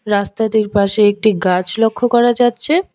রাস্তাতির পাশে একটি গাছ লক্ষ করা যাচ্ছে।